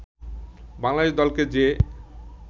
বাংলাদেশ দলকে যে